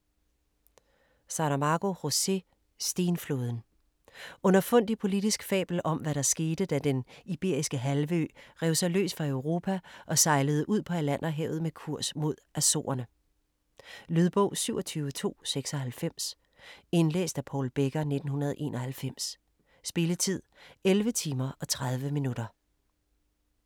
Saramago, José: Stenflåden Underfundig politisk fabel om, hvad der skete, da Den Iberiske Halvø rev sig løs fra Europa og sejlede ud på Atlanterhavet med kurs mod Açorerne. Lydbog 27296 Indlæst af Paul Becker, 1991. Spilletid: 11 timer, 30 minutter.